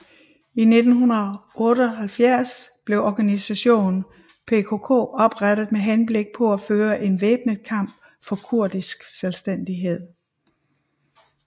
I 1978 blev organisationen PKK oprettet med henblik på at føre en væbnet kamp for kurdisk selvstændighed